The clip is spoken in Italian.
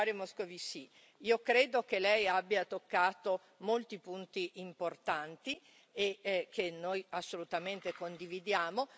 Moscovici, io credo che Lei abbia toccato molti punti importanti e che noi assolutamente condividiamo.